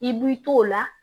I b'i t'o la